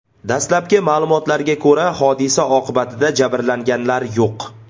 Dastlabki ma’lumotlarga ko‘ra, hodisa oqibatida jabrlanganlar yo‘q.